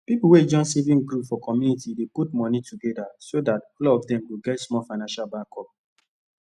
pipu wey join saving group for community dey put moni togeda so dat all of dem go get small financial backup